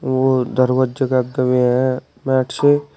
वो दरवाजे गये हैं मैट से--